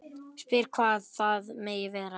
Spyr hvað það megi vera.